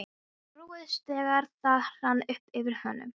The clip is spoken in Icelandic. Hann róaðist, þegar það rann upp fyrir honum.